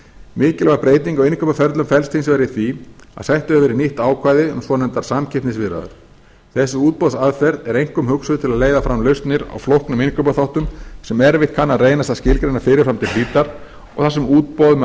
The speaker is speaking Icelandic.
mikilvæg breyting á innkaupaferli felst hins vegar í því að sett hefur verið inn nýtt ákvæði um svonefndar samkeppnisviðræður þessi útboðsaðferð er einkum hugsuð til að leiða fram lausnir á flóknum innkaupaþáttum sem erfitt kann að reynast að skilgreina fyrir fram til hlítar og þar sem útboð með